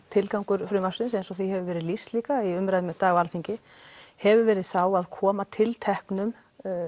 tilgangur frumvarpsins eins og því hefur verið lýst líka í umræðunni í dag á Alþingi hefur verið sá að koma tilteknum